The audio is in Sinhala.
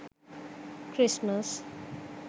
christmas